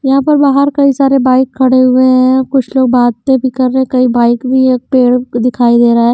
यहां पर बाहर कई सारे बाइक खड़े हुए हैं कुछ लोग बातें भी कर रहे कई बाइक भी है एक पेड़ दिखाई दे रहा है।